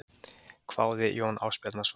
hváði Jón Ásbjarnarson.